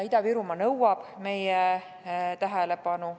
Ida-Virumaa nõuab meie tähelepanu.